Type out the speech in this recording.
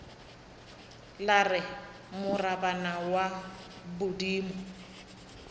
la re morabana wa bodimo